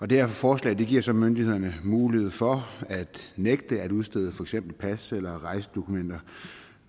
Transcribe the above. det her forslag giver så myndighederne mulighed for at nægte at udstede for eksempel pas eller rejsedokumenter